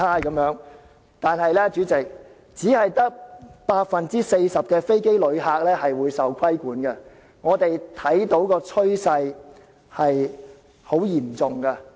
可是，主席，其實當中只有 40% 的飛機旅客將會受到規管，我們看到的趨勢很嚴重。